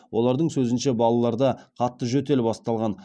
олардың сөзінше балаларда қатты жөтел басталған